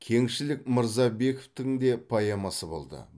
кеңшілік мырзабековтің де поэмасы болды